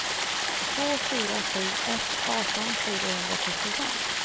två fyra sju ett arton fyrahundratrettiofem